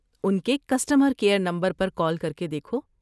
ان کے customer care number پر call کر کے دیکھو۔